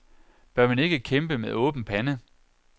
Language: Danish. Bør man ikke kæmpe med åben pande?